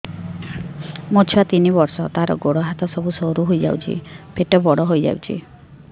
ମୋ ଛୁଆ ତିନି ବର୍ଷ ତାର ଗୋଡ ହାତ ସରୁ ହୋଇଯାଉଛି ପେଟ ବଡ ହୋଇ ଯାଉଛି